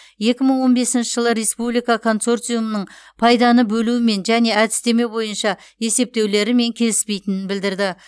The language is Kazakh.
екі мың он бесінші жылы республика консорциумның пайданы бөлуімен және әдістеме бойынша есептеулерімен келіспейтінін білдірді